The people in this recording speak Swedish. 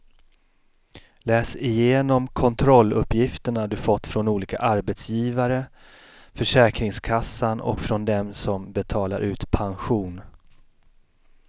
Läs igenom kontrolluppgifterna du fått från olika arbetsgivare, försäkringskassan och från dem som betalar ut pension.